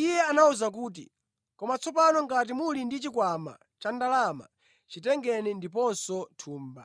Iye anawawuza kuti, “Koma tsopano ngati muli ndi chikwama cha ndalama, chitengeni, ndiponso thumba.